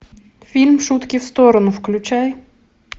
фильм шутки в сторону включай